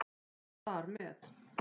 Þar með